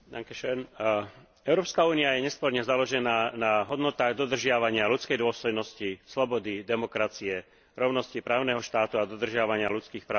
Európska únia je nesporne založená na hodnotách dodržiavania ľudskej dôstojnosti, slobody, demokracie, rovnosti, právneho štátu a dodržiavania ľudských práv a základných slobôd.